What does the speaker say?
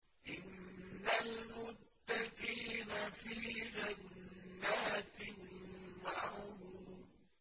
إِنَّ الْمُتَّقِينَ فِي جَنَّاتٍ وَعُيُونٍ